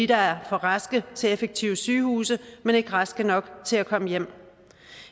der er for raske til effektive sygehuse men ikke raske nok til at komme hjem